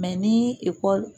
Mɛ ni ekɔli